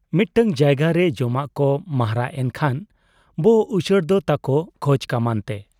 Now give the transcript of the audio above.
ᱢᱤᱫᱴᱟᱹᱝ ᱡᱟᱭᱜᱟᱨᱮ ᱡᱚᱢᱟᱜ ᱠᱚ ᱢᱟᱦᱨᱟᱜᱽ ᱮᱱ ᱠᱷᱟᱱ ᱵᱚ ᱩᱪᱟᱹᱲ ᱫᱚ ᱛᱟᱠᱚ ᱠᱷᱚᱡ ᱠᱟᱢᱟᱱᱛᱮ ᱾